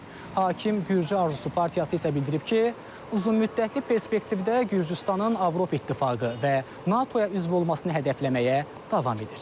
Hakim Gürcü Arzusu partiyası isə bildirib ki, uzunmüddətli perspektivdə Gürcüstanın Avropa İttifaqı və NATO-ya üzv olmasını hədəfləməyə davam edir.